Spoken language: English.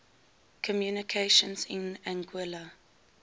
communications in anguilla